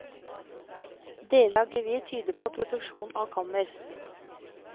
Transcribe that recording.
Deler av gevir tyder på produksjon av kammer.